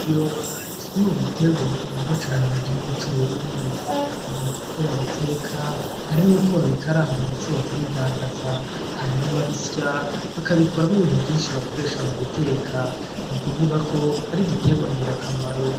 Ibiyoba nikimwe mu bitegwa bikundwa cane mu gihugu c'UBURUNDi ; hari uko babiteka hari nuko babikaranga ndetse bakabidandaza, hari n'ababisya bakabikoramwo ibintu vyinshi bakoresha muguteka nukuvugako arigitegwa ngirakamaro.